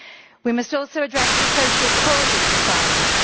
We must also address the social causes of violence.